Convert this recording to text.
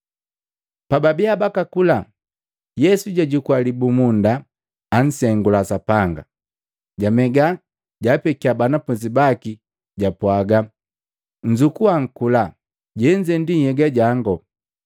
Pababiya bakakula, Yesu jwajukua libumunda, ansengula Sapanga, jamega, jaapekia banafunzi baki japwaga, “Nnzukua mkula, jenze nhyega jango.”